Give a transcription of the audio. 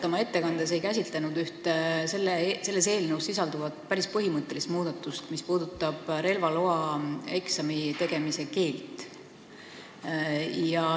Te oma ettekandes ei käsitlenud väga põhjalikult ühte eelnõus sisalduvat päris põhimõttelist muudatust, mis puudutab relvaeksami tegemise keelt.